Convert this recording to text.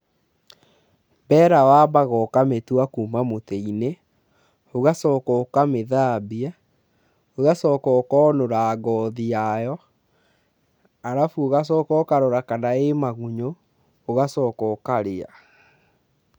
Mbera wambaga ũkamĩtwa kuuma mũtĩ-inĩ, ũgacoka ũkamĩthambia, ũgacoka ũkonũra ngothi yayo, arabu ũgacoka ũkarora kana ĩ magunyũ ũgacoka ũkarĩa.